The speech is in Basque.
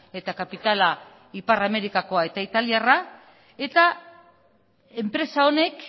eta kapitala ipar amerikakoa eta italiarra eta enpresa honek